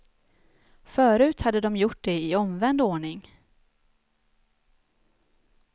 Förut hade de gjort det i omvänd ordning.